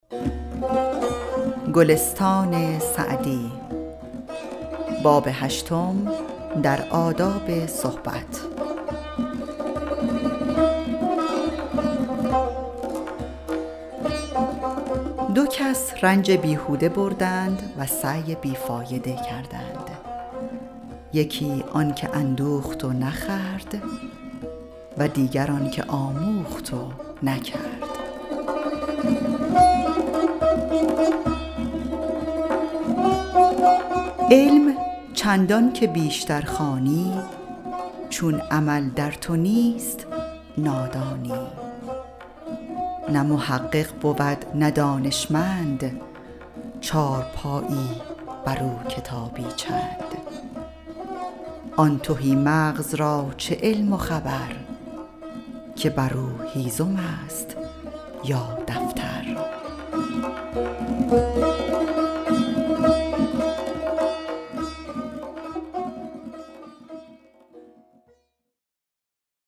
دو کس رنج بیهوده بردند و سعی بی فایده کردند یکی آن که اندوخت و نخورد و دیگر آن که آموخت و نکرد علم چندان که بیشتر خوانی چون عمل در تو نیست نادانی نه محقق بود نه دانشمند چارپایی بر او کتابی چند آن تهی مغز را چه علم و خبر که بر او هیزم است یا دفتر